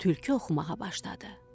Tülkü oxumağa başladı.